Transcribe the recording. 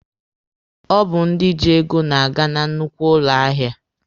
Ọ bụ ndị ji ego na-aga na nnukwu ụlọ ahịa.